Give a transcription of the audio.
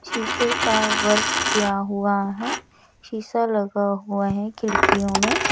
शीशे का वर्क किया हुआ है शीशा लगा हुआ है खिड़कियों में--